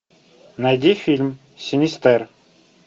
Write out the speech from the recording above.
найди фильм синистер